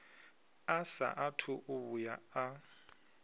a saathu u vhuya a